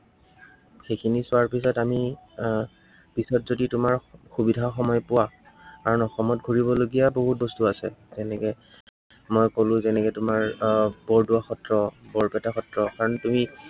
সেইখিনি চোৱাৰ পিছত আমি আহ পিছত যদি তোমাৰ সুবিধা সময় পোৱা, আৰু অসমত ঘূৰিবলগীয়া বহুত বস্তু আছে। এনেকে, মই কলো যেনেকে তোমাৰ আহ বৰদোৱা সত্ৰ, বৰপেটা সত্ৰ, কাৰন তুমি